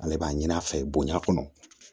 Ale b'a ɲin'a fɛ bonya kɔnɔ